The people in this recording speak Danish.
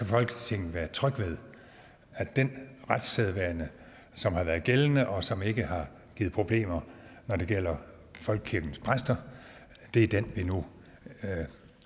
folketinget være tryg ved at den retssædvane som har været gældende og som ikke har givet problemer når det gælder folkekirkens præster er den vi nu